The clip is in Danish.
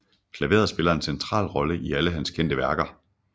Klaveret spiller en central rolle i alle hans kendte værker